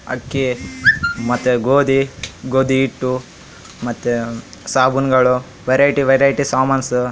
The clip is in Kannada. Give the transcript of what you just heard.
ಅಕ್ಕಿ ಮತ್ತೆ ಗೋದಿ ಗೋದಿ ಹಿಟ್ಟು ಮತ್ತೆ ಸಾಬೂನ್ ಗಳು ವೆರೈಟಿ ವೆರೈಟಿ ಸಾಮಾನ್ಸ್.